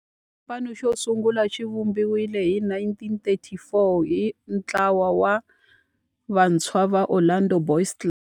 Xipano xosungula xivumbiwile hi 1934 hi ntlawa wa vantshwa va Orlando Boys Club.